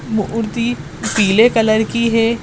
मूर्ति पीले कलर की है।